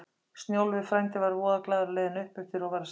Snjólfur frændi var voða glaður á leiðinni uppeftir og var að syngja